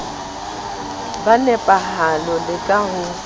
ka nepahalo le ka ho